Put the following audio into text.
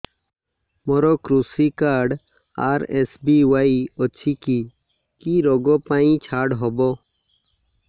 ମୋର କୃଷି card RSBY ଅଛି କି କି ଋଗ ପାଇଁ ଛାଡ଼ ହବ